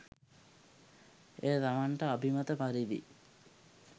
එය තමන්ට අභිමත පරිදි